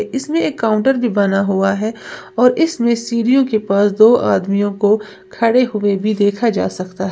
इसमें एक काउंटर भी बना हुआ है और इसमें सीढ़ियों के पास दो आदमियों को खड़े हुए भी देखा जा सकता--